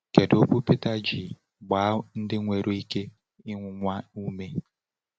Kedu okwu Peter ji gbaa ndị nwere ike ịnwụnwa ume?